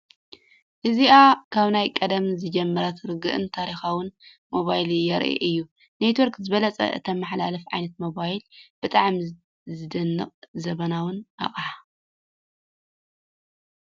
እዚኣ ካብ ናይ ቀደም ዝጀመረት ርጉእን ታሪኻዊትን ሞባይል የርኢ እዩ። ኔትዎርክ ዝበለፀ እትመሓላለፍ ዓይነት ሞባይል ፣ ብጣዕሚ ዝድነቕን ዘመናውን ኣቕሓ!